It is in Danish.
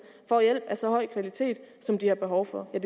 får hjælp af så høj kvalitet som de har behov for jeg